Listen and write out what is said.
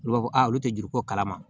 Olu b'a fɔ a olu tɛ juru ko kalama